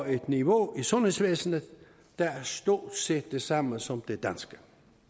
et niveau i sundhedsvæsenet der er stort set det samme som det danske